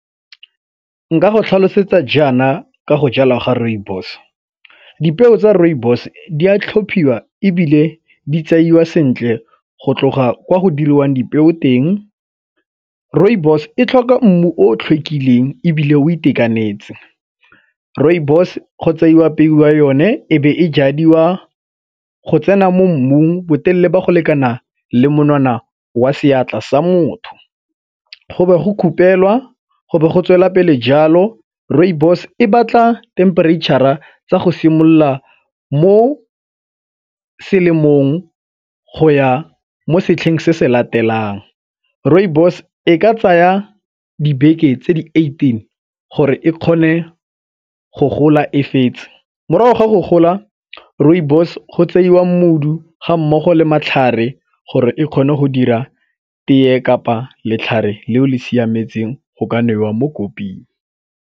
Nka go tlhalosetsa jaana ka go jala ga rooibos, dipeo tsa rooibos di a tlhophiwa ebile di tseiwa sentle go tloga kwa go diriwang dipeo teng. Rooibos e tlhoka mmu o tlhwekileng ebile o itekanetse. Rooibos go tseiwa apeiwa yone e be e jadiwa go tsena mo mmung botelele ba go lekana le monwana wa seatla sa motho, go be go kgupelwa, go be go tswelela pele jalo. Rooibos e batla themperetšhara tsa go simolola mo selemong go ya mo setlheng se se latelang. Rooibos e ka tsaya dibeke tse di eighteen gore e kgone go gola e fetse. Morago ga go gola, rooibos go tseiwa mogodu ga mmogo le matlhare gore e kgone go dira teye kapa letlhare leo le siametseng go ka nwewa mo koping.